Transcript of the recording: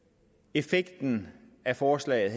effekten af forslaget